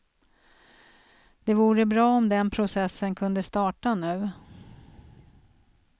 Det vore bra om den processen kunde starta nu.